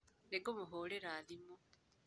Nĩngũmũhũrĩra thimũ.